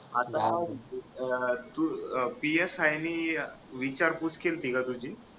आता तू psi ने विचारपूस केलती का तुझी?